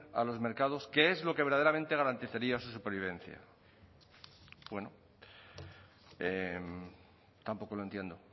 a los mercados que es lo que verdaderamente garantizaría su supervivencia bueno tampoco lo entiendo